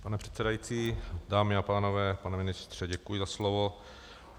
Pane předsedající, dámy a pánové, pane ministře, děkuji za slovo.